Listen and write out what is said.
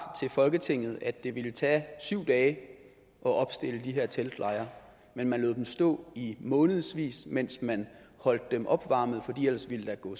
til folketinget at det ville tage syv dage at opstille de her teltlejre men man lod dem stå i månedsvis mens man holdt dem opvarmet for ellers ville der gå